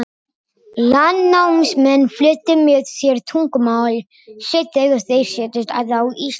Landnámsmenn fluttu með sér tungumál sitt þegar þeir settust að á Íslandi.